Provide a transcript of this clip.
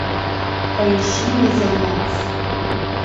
поищи мезальянс